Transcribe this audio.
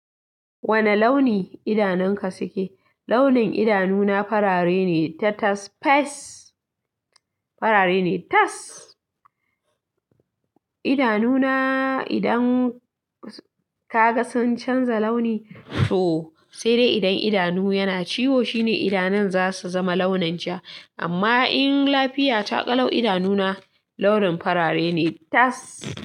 Wane launi idanunka suke? Launin idanuna farare ne ta tas fes farare ne tas. Idanuna idan ka ga sun canza launi to sai dai idan idanu yana ciwo shine idanun za su zama launin ja amma in lafiya taƙalo idanuna launin farare ne tas.